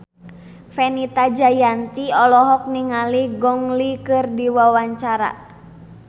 Fenita Jayanti olohok ningali Gong Li keur diwawancara